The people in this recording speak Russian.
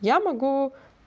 я могу